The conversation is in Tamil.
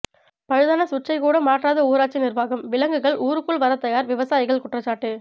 பழுதான சுவிட்ச்சை கூட மாற்றாத ஊராட்சி நிர்வாகம் விலங்குகள் ஊருக்குள் வர தயார் விவசாயிகள் குற்றச்சாட்டு